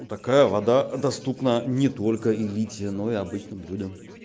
у такая вода доступна не только элите но и обычным людям